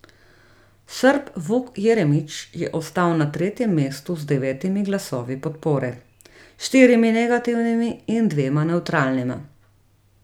Srb Vuk Jeremić je ostal na tretjem mestu z devetimi glasovi podpore, štirimi negativnimi in dvema nevtralnima.